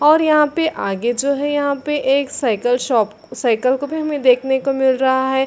और यहाँ पे आगे जो है यहाँ पे एक साइकिल शॉप साइकिल को भी हमें देखने को मिल रहा है।